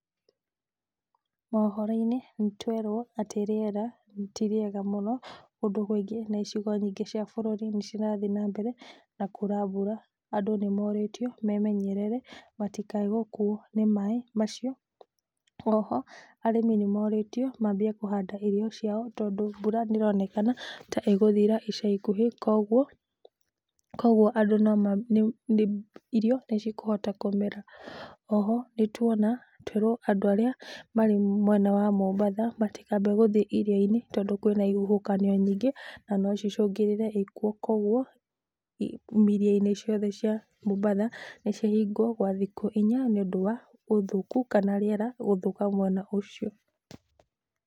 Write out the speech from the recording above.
Mohoro-inĩ nĩ twerwo atĩ rĩera ti rĩeaga mũno, kũndũ kũingĩ na icigo nyingĩ cia bũrũri nĩcirathiĩ nambere na kura mbura. Andũ nĩmorĩtio memenyerere matikae gũkuo nĩ maĩ macio. Oho arĩmi nĩmorĩtio mambie kũhanda irio ciao tondũ mbura nĩronekana ta ĩgũthira ica ikuhĩ kuoguo, kuoguo andũ noma, irio nĩcikũhota kũmera. Oho nĩtuona twerwo andũ arĩa marĩ mwena wa Mombatha matikambe gũthiĩ iria-inĩ, tondũ kwĩna ihuhũkanio nyingĩ, na nocicũngĩrĩre ikuũ kuoguo iria-inĩ ciothe cia Mombatha nĩcihingwo gwa thikũ inya nĩũndũ wa ũthũku kana rĩera gũthũka mwena ũcio.